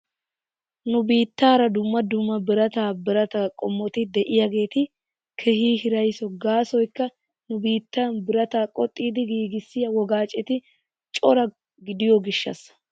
Nu biittaara dumma dumma birataa birataa qommoti de'iyaageeti keehi hiraysso gaasoykka nu biittan birataa qoxxidi giigissiyaa wogaaceti cora gidiyoo gishaasa.